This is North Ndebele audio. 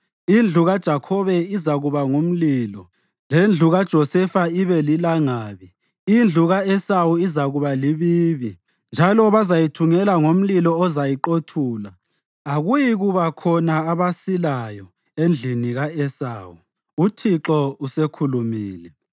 Indlu kaJakhobe izakuba ngumlilo lendlu kaJosefa ibe lilangabi; indlu ka-Esawu izakuba libibi, njalo bazayithungela ngomlilo ozayiqothula. Akuyikuba khona abasilayo endlini ka-Esawu.” UThixo usekhulumile.